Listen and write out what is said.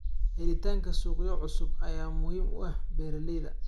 Helitaanka suuqyo cusub ayaa muhiim u ah beeralayda.